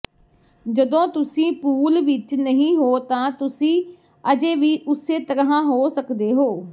ਜਦੋਂ ਤੁਸੀਂ ਪੂਲ ਵਿਚ ਨਹੀਂ ਹੋ ਤਾਂ ਤੁਸੀਂ ਅਜੇ ਵੀ ਉਸੇ ਤਰ੍ਹਾਂ ਹੋ ਸਕਦੇ ਹੋ